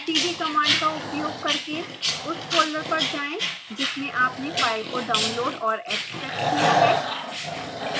cd command का उपयोग करके उस folder पर जाएं जिसमें आपने file को downloaded और extracted किया है